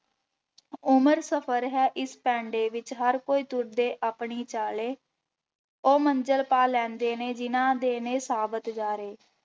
ਉਮਰ ਸਫ਼ਰ ਹੈ ਇਸ ਪੈਂਡੇ ਵਿੱਚ ਹਰ ਕੋਈ ਤੁਰਦੇ ਆਪਣੀ ਚਾਲੇ, ਉਹ ਮੰਜਿਲ ਪਾ ਲੈਂਦੇ ਨੇ ਜਿਹਨਾਂ ਦੇ ਨੇ ਸਾਬਤ ਜਾਰੇੇ।